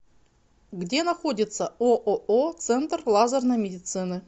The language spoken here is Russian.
где находится ооо центр лазерной медицины